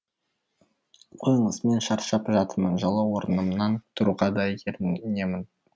қойыңыз мен шаршап жатырмын жылы орнымнан тұруға да ерінемін